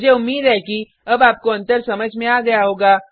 मुझे उम्मीद है कि अब आपको अंतर समझ में आ गया होगा